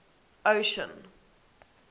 ocean